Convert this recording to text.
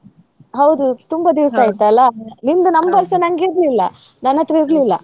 ಹೌದು ತುಂಬಾ ದಿವ್ಸ ಆಯ್ತಲ್ಲ ನಿಮ್ದು number ಸಾ ನಂಗ ಇರ್ಲಿಲ್ಲಾ ನನ್ಹತ್ರ ಇರ್ಲಿಲ್ಲ.